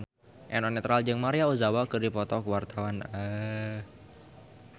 Eno Netral jeung Maria Ozawa keur dipoto ku wartawan